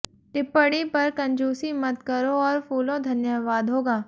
टिप्पणी पर कंजूसी मत करो और फूलों धन्यवाद होगा